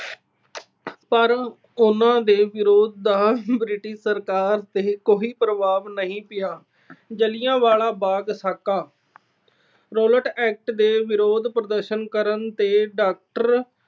ਪਰ ਉਹਨਾਂ ਦੇ ਵਿਰੋਧ ਦਾ British ਸਰਕਾਰ ਤੇ ਕੋਈ ਪ੍ਰਭਾਵ ਨਹੀਂ ਪਿਆ। ਜਲਿਆਂਵਾਲਾ ਬਾਗ ਸਾਕਾ - Rowlatt Act ਤੇ ਵਿਰੋਧ ਪ੍ਰਦਰਸ਼ਨ ਕਰਨ ਤੇ doctor